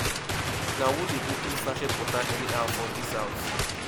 na who dey open sachet water anyhow for dis house